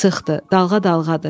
Sıxdı, dalğa-dalğadır.